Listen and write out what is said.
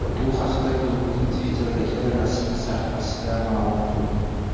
Bu haqda klubning Twitter’dagi rasmiy sahifasida ma’lum qilindi .